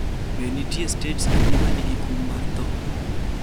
Be nitie stets adi ma nigi kum ma tho?